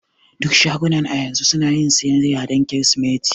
Duk shagunan a yanzu sunayin siyayya dan kirsimeti.